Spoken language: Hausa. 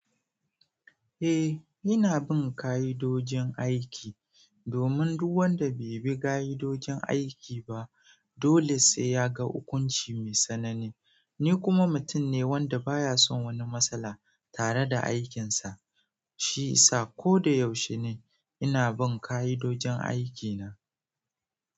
Eh, ni ina bin kayidojin aiki, domin duk wanda bai bi gayidojin aiki ba, dole sai ya ga ukunci mai sanani. Ni kuma mutum ne wanda baya son wani matsala tare da aikinsa. Shi i sa ko da yaushene, ina bin kayidojin aikina.